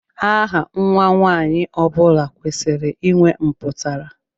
Aha Nwa nwanyị ọbula kwesịrị ịnwe mputara.